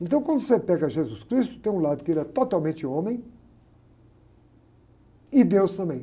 Então quando você pega Jesus Cristo, tem um lado que ele é totalmente homem e deus também.